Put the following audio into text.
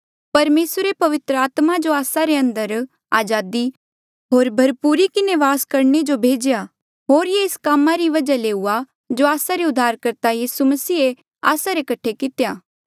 परमेसरे पवित्र आत्मा जो आस्सा रे अंदर अजादी होर भरपूरी किन्हें वास करणे जो भेजेया होर ये एस कामा री वजहा ले हुआ जो आस्सा रे उद्धारकर्ता यीसू मसीहे आस्सा रे कठे कितेया